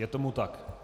Je tomu tak.